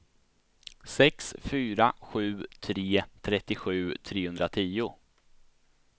sex fyra sju tre trettiosju trehundratio